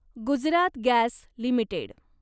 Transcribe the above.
Gujarat gas limited